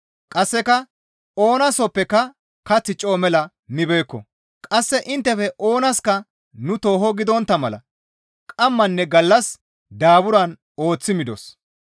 Qasseka oona sooppeka kath coo mela mibeekko; qasse inttefe oonaska nu tooho gidontta mala qammanne gallas daaburan ooththi midos.